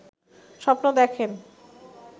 স্বপ্ন দেখেন